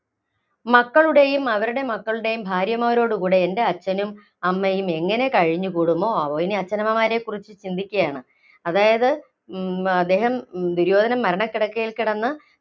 മക്കളുടെയും, അവരുടെ മക്കളുടെയും ഭാര്യമാരോടുകൂടെ എന്‍റെ അച്ഛനും അമ്മയും എങ്ങിനെ കഴിഞ്ഞു കൂടുമോ ആവോ? ഇനി ആച്ഛനമ്മമാരെക്കുറിച്ച് ചിന്തിക്കയാണ്. അതായത് ഉം അദ്ദേഹം ദുര്യോധനൻ മരണക്കിടക്കയില്‍ കിടന്ന്